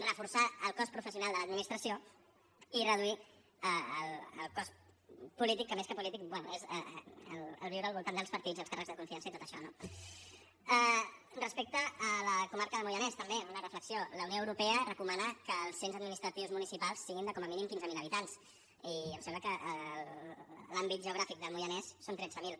reforçar el cos professional de l’administració i reduir el cos polític que més que polític bé és el viure al voltant dels partits i els càrrecs de confiança i tot això no respecte a la comarca del moianès també una reflexió la unió europea recomana que els cens administratius municipals siguin de com a mínim quinze mil habitants i em sembla que a l’àmbit geogràfic del moianès són tretze mil